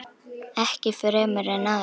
Ekki fremur en áður.